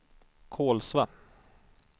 Kolsva